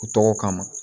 U tɔgɔ kama